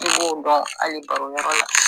I b'o dɔn hali baro yɔrɔ la